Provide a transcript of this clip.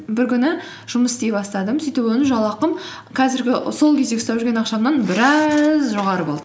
бір күні жұмыс істей бастадым сөйтіп жалақым сол кездегі ұстап жүрген ақшамнан біраз жоғары болды